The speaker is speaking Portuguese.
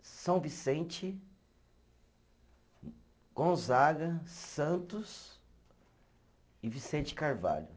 São Vicente, Gonzaga, Santos e Vicente Carvalho.